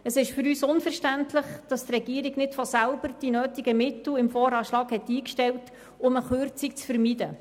Es ist für uns unverständlich, dass die Regierung nicht von sich aus die nötigen Mittel im VA eingestellt hat, um eine Kürzung zu vermeiden.